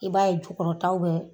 I b'a ye jukɔrɔtaw bɛɛ